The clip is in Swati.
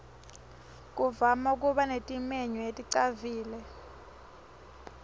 kuvama kuba netimenywa leticavile